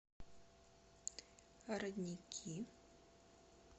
родники